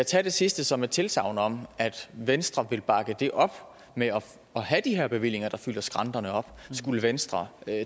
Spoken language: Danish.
tage det sidste som et tilsagn om at venstre vil bakke det op med at have de her bevillinger der fylder skrænterne op skulle venstre